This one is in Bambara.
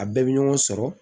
A bɛɛ bɛ ɲɔgɔn sɔrɔ